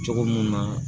Cogo mun na